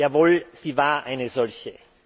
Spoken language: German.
Jawohl, sie war eine solche.